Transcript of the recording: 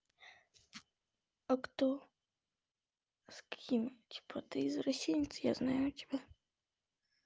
а кто с какими типа ты извращенец я знаю тебя